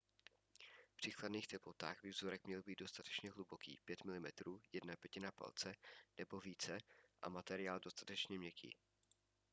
při chladných teplotách by vzorek měl být dostatečně hluboký – 5 mm 1/5 palce nebo více – a materiál dostatečně měkký